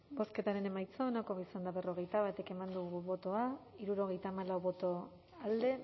bozketaren emaitza onako izan da berrogeita bat eman dugu bozka hirurogeita hamalau boto alde